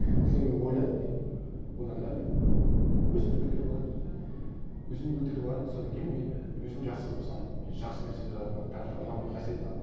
содан кейін ойладым мен одан да мен өзімді көтеріп алайын өзімді көтеріп алайын содан кейін мен өзім жақсы болсам мен жақсы нәрселерді адамдарға тарата аламын адамдарға әсер ете аламын